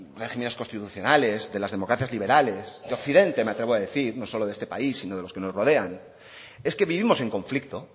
regímenes constitucionales de las democracias liberales de occidente me atrevo a decir no solo de este país sino de los que nos rodean es que vivimos en conflicto